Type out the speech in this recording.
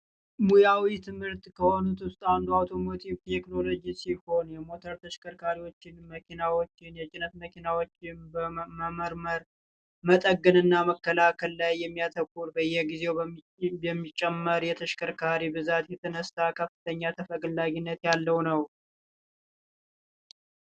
ሙያዊ ትምህርት ከሆኑት ውስጥ አንዱ አውቶሞቲቭ ቴክኖሎጂ ሲሆን ሞተር ተሽከርካሪዎች መኪናዎች የጭነት መኪናዎችን በመመርመር መጠገን እና ማስተካከል ላይ ያተኮረ ሲሆን በየጊዜው በሚጨምር የተሽከርካሪ ብዛት እየተነሳ ከፍተኛ ተፈላጊነት ያለው ነው።